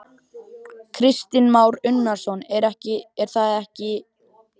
Kristinn Már Unnarsson: Er það ekki í raun ástæðan?